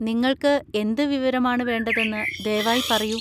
നിങ്ങൾക്ക് എന്ത് വിവരമാണ് വേണ്ടതെന്ന് ദയവായി പറയൂ.